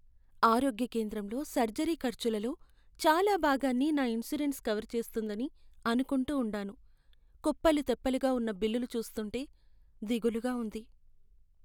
ఆరోగ్య కేంద్రంలో సర్జరీ ఖర్చులలో చాలా భాగాన్ని నా ఇన్సూరెన్స్ కవర్ చేస్తుందని అనుకుంటూ ఉండాను. కుప్పలు తెప్పలుగా ఉన్న బిల్లులు చూస్తుంటే దిగులుగా ఉంది.